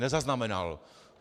Nezaznamenal!